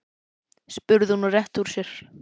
spurði hún og rétti úr sér.